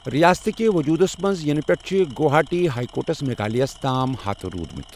رِیاستہٕ كہِ وجوٗدس منز یِنہٕ پیٹھیہ چھٗ گوہاٹی ہایہ كوٹس میگھالیہس تام حاتہٕ روٗدمٗت ۔